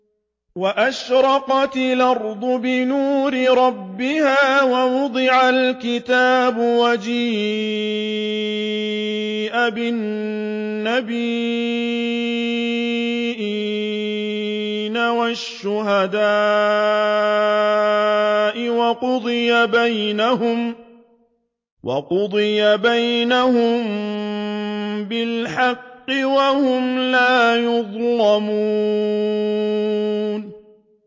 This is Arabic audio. وَأَشْرَقَتِ الْأَرْضُ بِنُورِ رَبِّهَا وَوُضِعَ الْكِتَابُ وَجِيءَ بِالنَّبِيِّينَ وَالشُّهَدَاءِ وَقُضِيَ بَيْنَهُم بِالْحَقِّ وَهُمْ لَا يُظْلَمُونَ